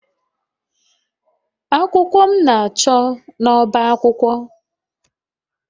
Akwụkwọ m na-achọ n'ọbá akwụkwọ.